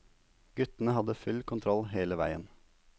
Guttene hadde full kontroll hele veien.